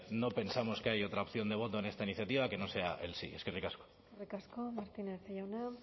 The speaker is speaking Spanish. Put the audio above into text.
no pensamos que hay otra opción de voto en esta iniciativa que no sea el sí eskerrik asko eskerrik asko martínez jauna